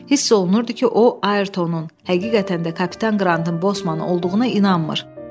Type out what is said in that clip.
Hiss olunurdu ki, o Ayrtonun həqiqətən də kapitan Qrantın Bosman olduğunu inanmır.